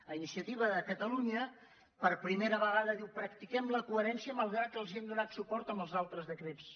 iniciativa per catalunya per primera vegada diu practiquem la coherència malgrat que els hem donat suport en els altres decrets